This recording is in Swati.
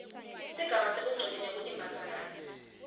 sigaba sebungcweti nekutibandzakanya